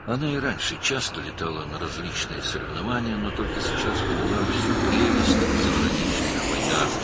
O, əvvəllər də müxtəlif yarışlara tez-tez uçurdu, lakin indi xarici səfərlərin bütün gözəlliyini başa düşdü.